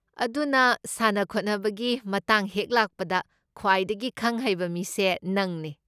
ꯑꯗꯨꯅ ꯁꯥꯟꯅ ꯈꯣꯠꯅꯕꯒꯤ ꯃꯇꯥꯡ ꯍꯦꯛ ꯂꯥꯛꯄꯗ, ꯈ꯭ꯋꯥꯏꯗꯒꯤ ꯈꯪ ꯍꯩꯕ ꯃꯤꯁꯦ ꯅꯪꯅꯦ꯫